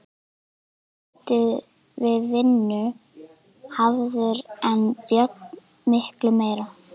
Guðmundur lítið við vinnu hafður en Björn miklu meira.